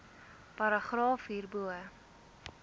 paragraaf hierbo